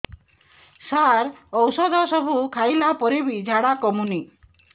ସାର ଔଷଧ ସବୁ ଖାଇଲା ପରେ ବି ଝାଡା କମୁନି